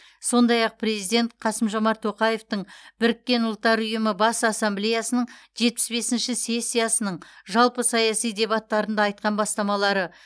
сондай ақ президент қасым жомарт тоқаевтың біріккен ұлттар ұйымының бас ассамблеясының жетпіс бесінші сессиясының жалпы саяси дебаттарында айтқан бастамалары